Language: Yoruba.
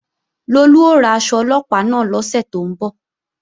Lolú ó ra aṣọ Ọlọ́pàá náà lọ́sẹ̀ tó ń bọ̀